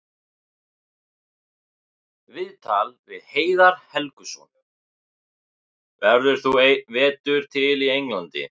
Viðtal við Heiðar Helguson: Verður þú einn vetur til í Englandi?